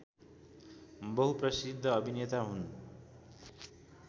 बहुप्रसिद्ध अभिनेता हुन्